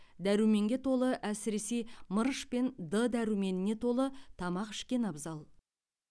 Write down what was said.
дәруменге толы әсіресе мырыш пен д дәруменіне толы тамақ ішкен абзал